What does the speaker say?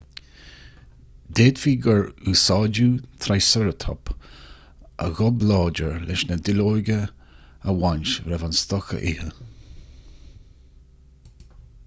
d'fhéadfaí gur úsáideadh trícheireatóp a ghob láidir leis na duilleoga a bhaint roimh an stoc a ithe